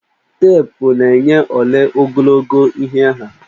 Teepụ na-enye ole ogologo ihe ha.